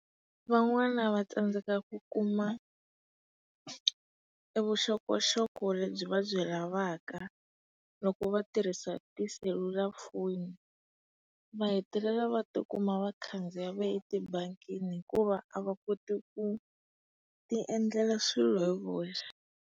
Van'wana va tsandzeka ku kuma e vuxokoxoko lebyi vabyi lavaka loko vatirhisi tiselulafoni. Va hetelela va ti kuma va khandziya va ya tibangini hikuva a va koti ku tiendlela swilo hi voxe.